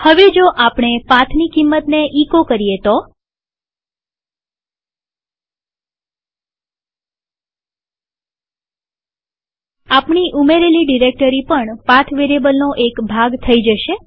હવે જો આપણે પાથની કિંમતને એચો કરીએ તો આપણી ઉમેરેલી ડિરેક્ટરી પણ પાથ વેરીએબલનો એક ભાગ થઇ જશે